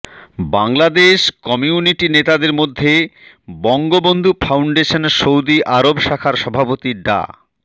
Bangladesh community নেতাদের মধ্যে Bangabandhu foundation Saudi Arab শাখার সভাপতি ডা